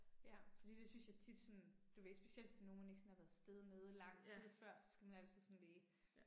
Ja, fordi det synes jeg tit sådan, du ved, specielt hvis det er nogen man ikke sådan har været afsted med i lang tid før så skal man altid sådan lige